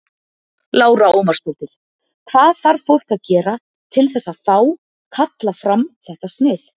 Lára Ómarsdóttir: Hvað þarf fólk að gera til þess að fá, kalla fram þetta snið?